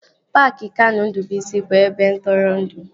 Paaki Kanụ Ndụbụisi bụ ebe ntụrụndụ